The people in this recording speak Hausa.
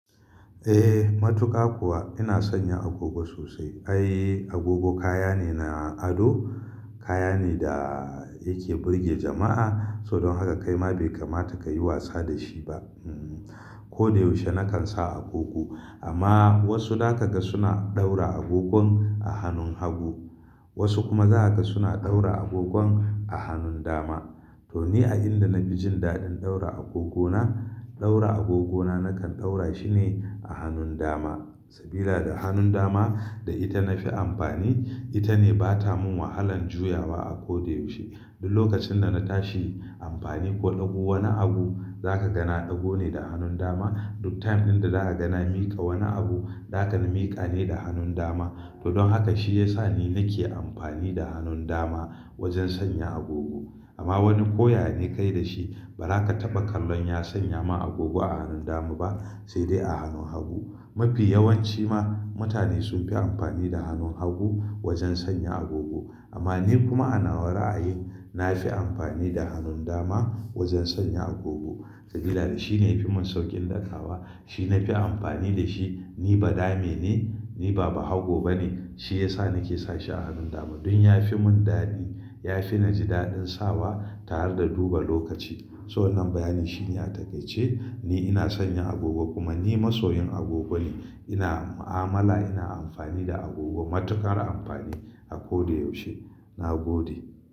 Eh, matuƙa kuwa ina sanya agogo sosai. Ai agogo kaya ne na ado, kaya ne da yake burge jama'a. So don haka kaima bai kamata ka yi wasa da shi ba. Ko da yaushe na kan sa agogo. Amma wasu za ka ga suna ɗaura agogon a hannun hagu wasu kuma za ka ga suna ɗaura agogon a hannun dama. To ni a inda nafi jin daɗin ɗaura agogona, ɗaura agogona na kan ɗaura shi ne a hannun dama. Sabila da hannun dama da ita na fi amfani, ita ne ba ta mun wahalan juyawa a ko da yaushe. Duk lokacin da na tashi amfani ko ɗago wani abu za ka ga na ɗago ne da hannun dama. Duk time dinda za ka ga na miƙa wani abu, za ka ganin miƙa ne da hannun dama. To don haka shi ya sa ni nake amfani da hannun dama wajen sanya agogo. Amma wani ko yane kai da shi ba za ka taɓa kallon ya sanya ma agogo a hannun dama ba sai dai a hannun hagu. Mafi yawanci ma mutane sun fi amfani da hannun hagu wajen sanya agogo. Amma ni kuma a nawa ra a yi, na fi amfani da hannun dama wajen sanya agogo. Sabila da shi ne ya fi mun sauƙin ɗagawa, shi na fi amfani da shi. Ni ba dame ne, ni ba bahago ba ne. Shi ya sa ni ke sa shi a hannun dama. Don ya fi mun daɗi, ya fi ni jin daɗin sawa tare da duba lokaci. So wannan bayani shi ne a takaice ni ina son yin agogo kuma ni masoyin agogo ne. Ina mu'amala, ina amfani da agogo matuƙar amfani a ko da yaushe. Na gode.